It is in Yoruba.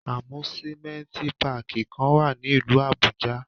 Amusimenti Pààki kan wa ni ilu Abuja.